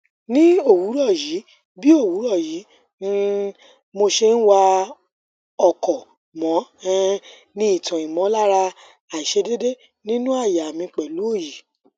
ni owuroyi bi owuroyi bi um mose wa oko mo um ni itan imolara aisedede ninu aya mi pelu oyi